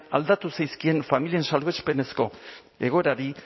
aldatu zaizkien familien salbuespenezko egoerari